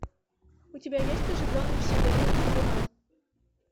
у тебя есть оживленный псевдоним трибунал